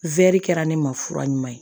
kɛra ne ma fura ɲuman ye